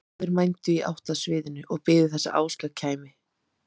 Báðir mændu í átt að sviðinu og biðu þess að Áslaug kæmi.